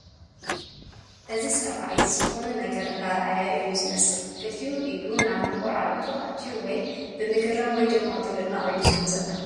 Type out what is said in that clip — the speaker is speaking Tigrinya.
እዚ ሰብኣይ ዝኾነ ነገር እንዳረኣየ እዩ ዝመስል ክልቲኡ ኢዱ ናብ መንኮራርዕቱ አእትዩ ወይ ብምግራም ወይ ድማ ብምድናቕ እዩ ዝርኢ ዘሎ ።